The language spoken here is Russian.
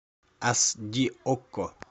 ас ди окко